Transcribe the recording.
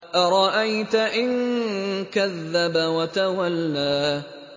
أَرَأَيْتَ إِن كَذَّبَ وَتَوَلَّىٰ